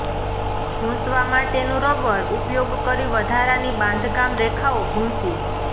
ભૂંસવા માટેનું રબર ઉપયોગ કરી વધારાની બાંધકામ રેખાઓ ભૂંસી